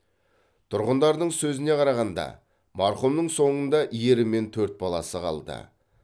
тұрғындардың сөзіне қарағанда марқұмның соңында ері мен төрт баласы қалды